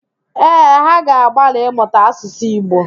Ee, ha ga-agbalị ịmụta Asụsụ Igbo